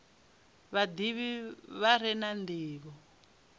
vhadivhi vha re na ndivho